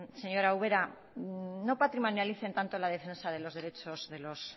señor ubera no patrimonialicen tanto la defensa de los derechos de los